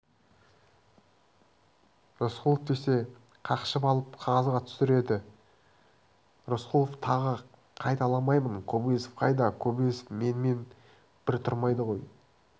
рысқұлов десе қақшып алып қағазға түсіреді рысқұлов тағы қайталамаймын кобозев қайда кобозев менімен бір тұрмайды ғой